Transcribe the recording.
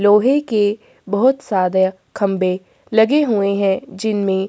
लोहै के बहुत सारे खम्भे लगे हुवे है जिनमें --